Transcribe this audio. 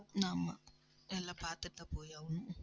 ஆமா எல்லாம் பாத்துட்டுதான் போயாகணும்.